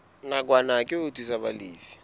nakwana ke ho thusa balefi